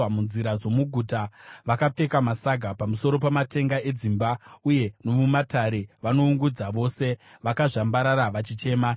Munzira dzomuguta vakapfeka masaga: pamusoro pamatenga edzimba uye nomumatare, vanoungudza vose, vakazvambarara vachichema.